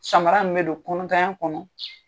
Samara min bɛ don kɔnɔntanya kɔnɔ.